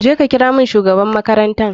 Je ka kira mun shugaban makaranta.